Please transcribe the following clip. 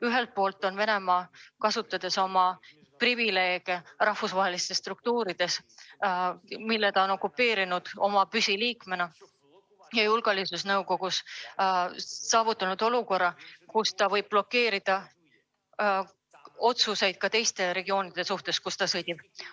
Ühelt poolt on Venemaa, kasutades oma privileege rahvusvahelistes struktuurides, kus ta on püsiliikmena, saavutanud olukorra, kus ta võib blokeerida otsuseid ka teistes regioonides, kus ta sõdib.